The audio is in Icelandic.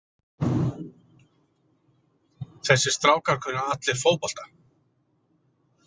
Þessir strákar kunna allir fótbolta.